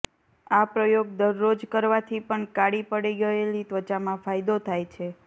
આ પ્રયોગ દરરોજ કરવાથી પણ કાળી પડી ગયેલી ત્વચામાં ફાયદો થાય છે